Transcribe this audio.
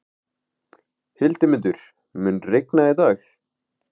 Hildimundur, mun rigna í dag?